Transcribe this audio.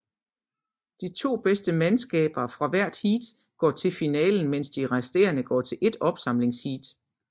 De to bedste mandskaber fra hvert heat går til finalen mens de resterende går til ét opsamlingsheat